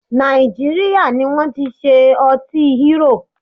Nàìjíríà ní wọ́n ti ṣe ọtí Hero.